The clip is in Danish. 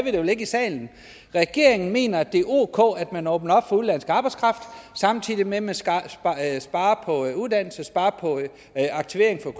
vi det vel ikke i salen regeringen mener at det er ok at man åbner op for udenlandsk arbejdskraft samtidig med at man sparer på uddannelse sparer på aktivering for